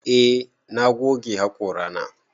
Eh na goge haƙora na.